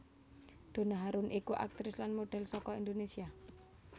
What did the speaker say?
Donna Harun iku aktris lan modhel saka Indonesia